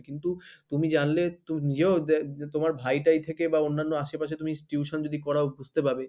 কিন্তু তুমি জানলে তুমি নিজেও যে তোমার ভাই টাই থেকে বা অন্যান্য আশেপাশে তুমি tuition যদি করাও বুঝতে পারবে,